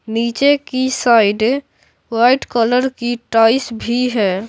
नीचे की side white colour की टाइल्स भी है।